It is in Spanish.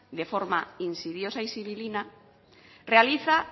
de forma insidiosa y sibilina